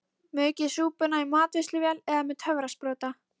Maukið súpuna í matvinnsluvél eða með töfrasprota.